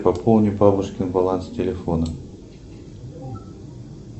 пополни бабушкин баланс телефона